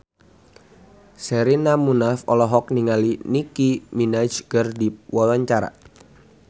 Sherina Munaf olohok ningali Nicky Minaj keur diwawancara